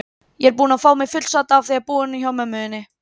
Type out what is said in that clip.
Ég er búin að fá mig fullsadda af að búa inni á mömmu þinni.